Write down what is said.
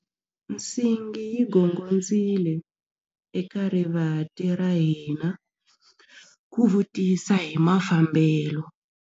Nsingi yi gongondzile eka rivanti ra hina ku vutisa hi mafambelo.